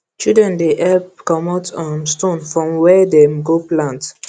children dey help comot um stone from where dem go plant